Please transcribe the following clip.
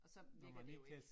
Og så virker det jo ikke